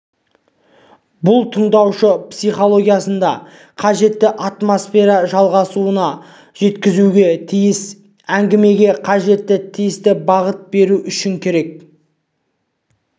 бұл тыңдаушы психологиясында қажетті атмосфера жасалуына жеткізуге тиіс әңгімеге қажетті тиісті бағыт беру үшін керек